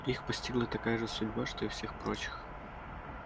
их постигла такая же судьба что и всех прочих